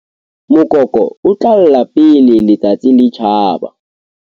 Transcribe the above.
Mokoko o tla lla pele letsatsi le tjhaba.